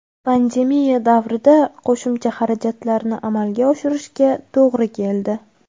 Pandemiya davrida qo‘shimcha xarajatlarni amalga oshirishga to‘g‘ri keldi.